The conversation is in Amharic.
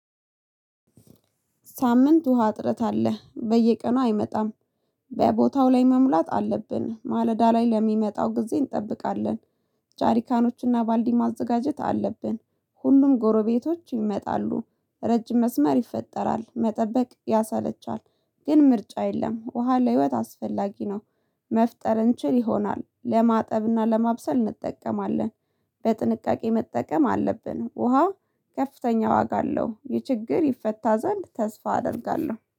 ሳምንት ውሃ እጥረት አለ በየቀኑ አይመጣም። በቦታው ላይ መሙላት አለብን ማለዳ ላይ ለሚመጣው ጊዜ እንጠብቃለን። ጃሪካኖችና ባልዲ ማዘጋጀት አለብን። ሁሉም ጎረቤቶች ይመጣሉ። ረጅም መስመር ይፈጠራል መጠበቅ ያሰለቻል። ግን ምርጫ የለም ውሃ ለህይወት አስፈላጊ ነው። መፍጠር እንችል ይሆናል ለማጠብና ለማብሰል እንጠቀማለን። በጥንቃቄ መጠቀም አለብን። ውሃ ከፍተኛ ዋጋ አለው። ይህ ችግር ይፈታ ዘንድ ተስፋ አደርጋለሁ